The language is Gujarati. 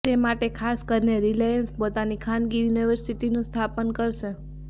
તે માટે ખાસ કરીને રીલાયન્સ પોતાની ખાનગી યુનિર્વસીટીનુ સ્થાપન કરશે